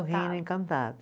O reino encantado.